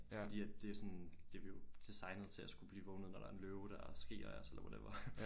Fordi at det er sådan det er vi er jo designet til at skulle blive vågnet når der er en løve der skriger af os eller whatever